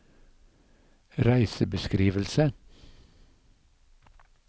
reisebeskrivelse